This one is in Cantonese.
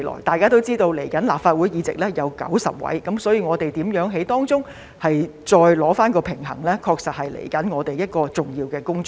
大家也知道，新一屆立法會的議席共有90席，所以如何在當中取得平衡，確實是我們接下來一項重要的工作。